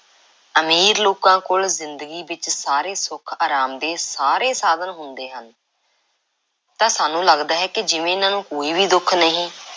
ਅਮੀਰ ਲੋਕਾਂ ਕੋਲ ਜ਼ਿੰਦਗੀ ਵਿੱਚ ਸਾਰੇ ਸੁੱਖ, ਅਰਾਮ ਦੇ ਸਾਰੇ ਸਾਧਨ ਹੁੰਦੇ ਹਨ। ਤਾਂ ਸਾਨੂੰ ਲੱਗਦਾ ਹੈ ਜਿਵੇਂ ਇਹਨਾਂ ਨੂੰ ਕੋਈ ਵੀ ਦੁੱਖ ਨਹੀਂ